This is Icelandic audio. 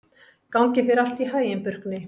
Gangi þér allt í haginn, Burkni.